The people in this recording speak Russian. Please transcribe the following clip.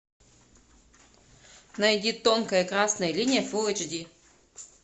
найди тонкая красная линия фулл эйч ди